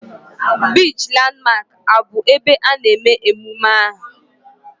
Biichi Landmark abụ ebe a na-eme emume ahu?